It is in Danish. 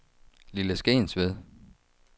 Lille Skensved